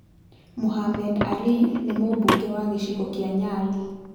Mohammed Ali nĩ Mũmbunge wa gĩcigo kĩa Nyali.